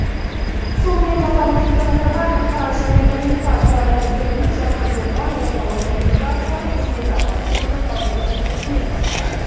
сонымен қатар нұрсұлтан назарбаев ақпарат және коммуникациялар министрлігінің жаңғыртылған орталық коммуникациялар қызметі баспасөз орталығының жұмысымен танысты